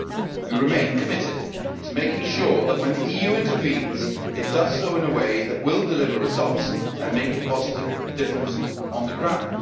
We remain committed to making sure that when the EU intervenes it does so in a way that will deliver results and make a positive difference on the ground.